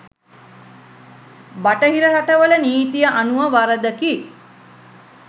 බටහිර රටවල නීතිය අනුව වරදකි.